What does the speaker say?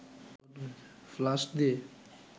flush দিয়ে